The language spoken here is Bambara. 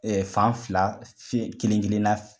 fan fila kelen kelen na